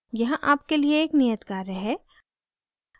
यहाँ आपके लिए एक नियत कार्य है